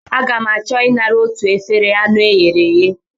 Aga m achọ I nara otu efere anụ e ghere eghe.